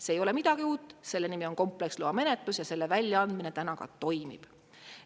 See ei ole midagi uut, selle nimi on kompleksloa menetlus ja selle väljaandmine täna ka toimib.